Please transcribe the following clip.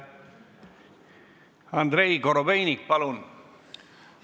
Andrei Korobeinik, palun!